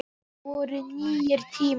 Þetta voru nýir tímar.